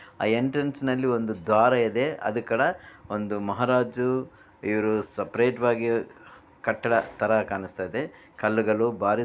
ಆ ಎಂಟ್ರೆನ್ಸ್ ನಲ್ಲಿ ಒಂದು ದ್ವಾರವಿದೆ ಅದು ಕಡ ಒಂದು ಮಹಾರಾಜು ಇವರು ಸಪರೇಟ್ ವಾಗಿ ಕಟ್ಟಡ ತರ ಕಾಣಿಸ್ತಾ ಇದೆ ಕಲ್ಲುಗಳು ಬಾರಿ.